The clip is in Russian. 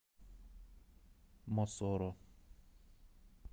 мосоро